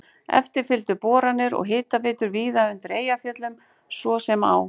Eftir fylgdu boranir og hitaveitur víðar undir Eyjafjöllum, svo sem á